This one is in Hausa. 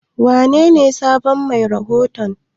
Wanene sabon mai rahoton?